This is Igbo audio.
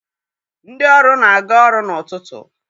Ndị ọrụ na-aga ọrụ n'ụtụtụ.